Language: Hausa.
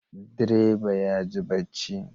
Direba yaji barci